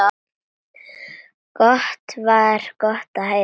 Það var gott að heyra.